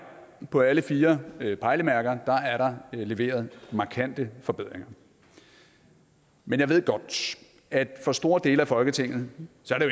på alle fire pejlemærker er der leveret markante forbedringer men jeg ved godt at for store dele af folketinget